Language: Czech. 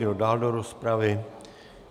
Kdo dál do rozpravy?